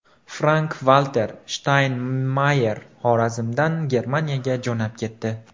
Frank-Valter Shtaynmayer Xorazmdan Germaniyaga jo‘nab ketdi.